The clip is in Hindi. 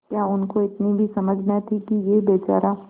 क्या उनको इतनी भी समझ न थी कि यह बेचारा